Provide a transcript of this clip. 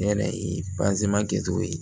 Ne yɛrɛ ye kɛ cogo ye